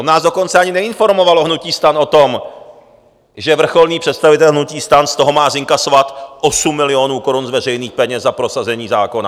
On nás dokonce ani neinformoval, hnutí STAN, o tom, že vrcholný představitel hnutí STAN z toho má zinkasovat 8 milionů korun z veřejných peněz za prosazení zákona.